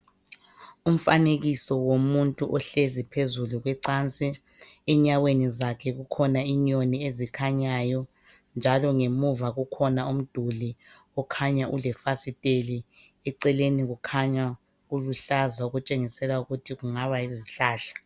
Umfanekiso womuntu ohlezi phezulu kwecansi enyaweni zakhe kukhona inyoni ezikhanyayo njalo ngemuva kukhona umduli okhanya ulefasiteli eceleni kukhanya kuluhlaza okutshengisela ukuthi kungaba yizihlahla.